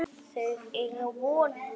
Þau eiga von á mér.